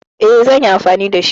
E, zan yi anfani da shi.